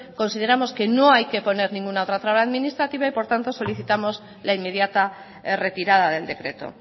consideramos que no hay que poner ninguna otra traba administrativa y por tanto solicitamos la inmediata retirada del decreto